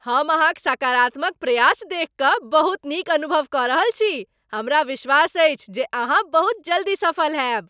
हम अहाँक सकारात्मक प्रयास देखि कऽ बहुत नीक अनुभव कऽ रहल छी, हमरा विश्वास अछि जे अहाँ बहुत जल्दी सफल होयब।